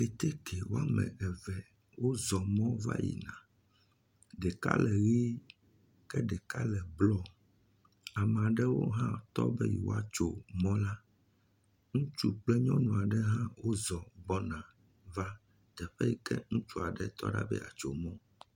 Keteke wɔme eve wozɔ mɔ va yina. Ɖeka le ʋi ke ɖeka le blu. Ame aɖewo hã tɔ be woatso mɔ la. Ŋutsu kple nyɔnu aɖewo hã wozɔ gbɔna va teƒe yi ke ŋutsua tɔ be ye atso mɔ.